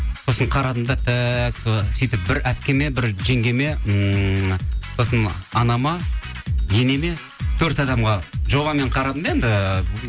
сосын қарадым да так і сөйтіп бір әпкеме бір жеңгеме ммм сосын анама енеме төрт адамға жобамен қарадым да енді